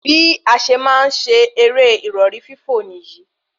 Bí a ṣe máa ń ṣe eré ìrọ̀rí fífò níyì